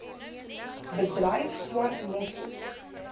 bedryf swart mossel